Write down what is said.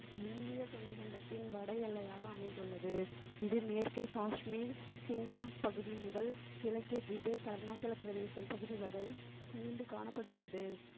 இந்திய துணை கண்டத்தின் வட எல்லையாக அமைந்துள்ளது இது மேற்கே காஷ்மீர் சிங் காங் பகுதி முதல் கிழக்கே டிபேத் அருணாச்சல பிரதேசம் பகுதி வரை நீண்டு காணப்படுகிறது